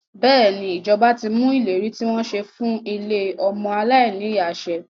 Bẹ́ẹ̀ni, ìjọba ti mú ìlérí tí wọ́n ṣe fún ilé ọmọ aláìní ìyá ṣẹ.